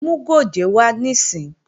Mú gòjé wá níìsín!